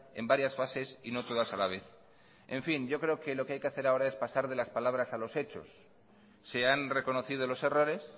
en varias fases y no todas a la vez en fin yo creo que lo que hay que hacer ahora es pasar de las palabras a los hechos se han reconocido los errores